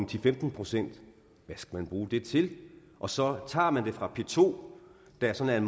til femten procent hvad skal man bruge det til og så tager man det fra p to der er sådan